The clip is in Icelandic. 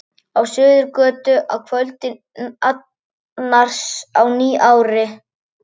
Á Suðurgötu að kvöldi annars í nýári.